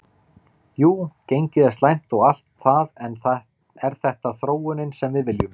Jú gengið er slæmt og allt það en er þetta þróunin sem við viljum?